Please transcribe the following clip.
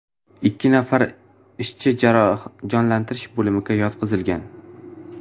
Ikki nafar ishchi jonlantirish bo‘limiga yotqizilgan.